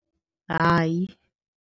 Hai.